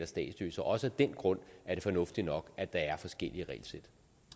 statsløse og også af den grund er det fornuftigt nok at der er forskellige regelsæt